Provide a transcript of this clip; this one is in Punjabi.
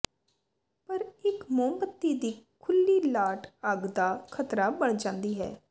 ਪਰ ਇਕ ਮੋਮਬੱਤੀ ਦੀ ਖੁੱਲ੍ਹੀ ਲਾਟ ਅੱਗ ਦਾ ਖ਼ਤਰਾ ਬਣ ਜਾਂਦੀ ਹੈ